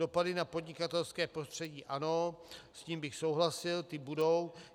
Dopady na podnikatelské prostředí - ano, s tím bych souhlasil, ty budou.